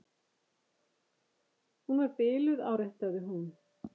Hún var biluð, áréttaði hún.